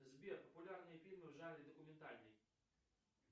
сбер популярные фильмы в жанре документальный